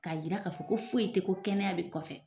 K'a jira k'a fɔ ko foyi tɛ ko kɛnɛya bɛ kɔfɛ